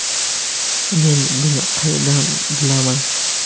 Men buni qayerdan bilaman?